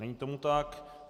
Není tomu tak.